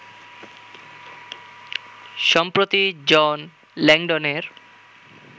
সম্প্রতি জন ল্যাংডনের